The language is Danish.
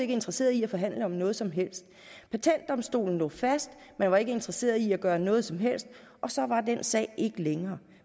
interesseret i at forhandle om noget som helst patentdomstolen lå fast man var ikke interesseret i at gøre noget som helst og så var den sag ikke længere